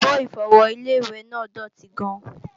Àbo-Ìfọwọ́ Ilé-ìwẹ̀ náà dòtí gan-an